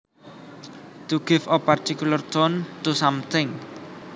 To give a particular tone to something